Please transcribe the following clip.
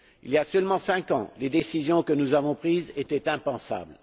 Il y a seulement cinq ans, les décisions que nous avons prises étaient impensables.